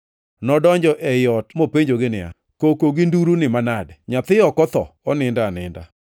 Nodonjo ei ot mopenjogi niya, “Koko gi nduru ni manade? Nyathi ok otho, onindo aninda.”